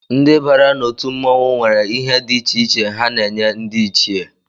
Ndị bàrà na otú mmọnwụ nwere ihe dị iche iche ha n'enye ndị ichie